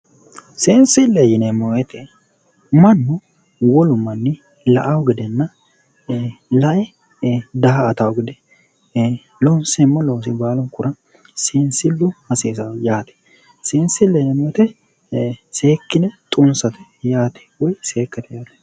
seensille yineemmo wote mannu wolu manni la''awo gedenna lae daa''atawo gede ee loonseemmo loosi baalunkura seensillu hasiisanno yaate seensille yineemmo wote seekkine xunsate yaate woyi seekkate.